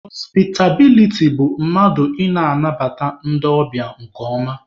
Họspịtabiliti bụ mmadụ ị na-anabata ndị ọbịa nke ọma